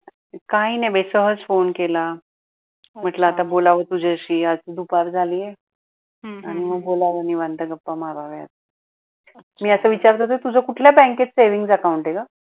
काही नाही सहज फोने केला म्हटलं आता बोलाव तुझ्याशी आता दुपार झाली आणि मग बोलावं निवांत गप्पा माराव्या, मी अस विचारात होती तुझ कुठल्या बॅंकेत savings account आहे ग?